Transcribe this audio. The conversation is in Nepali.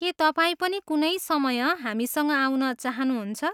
के तपाईँ पनि कुनै समय हामीसँग आउन चाहनुहुन्छ?